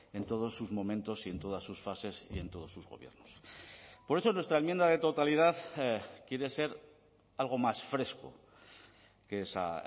en todos sus momentos y en todas sus fases y en todos sus gobiernos por eso nuestra enmienda de totalidad quiere ser algo más fresco que esa